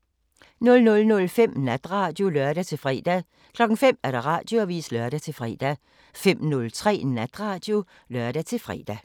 00:05: Natradio (lør-fre) 05:00: Radioavisen (lør-fre) 05:03: Natradio (lør-fre)